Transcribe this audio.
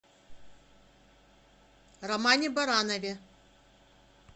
романе баранове